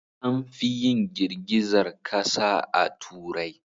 Anfi yin girgizar kasa a Turai.